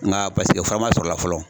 Nka paseke fura man sɔrɔ o la fɔlɔ.